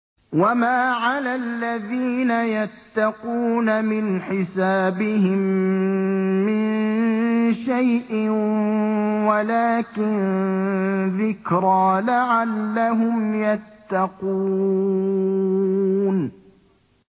وَمَا عَلَى الَّذِينَ يَتَّقُونَ مِنْ حِسَابِهِم مِّن شَيْءٍ وَلَٰكِن ذِكْرَىٰ لَعَلَّهُمْ يَتَّقُونَ